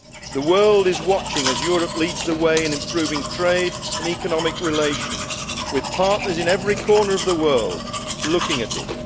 The world is watching as Europe leads the way in improving trade and economic relations, with partners in every corner of the world looking at it.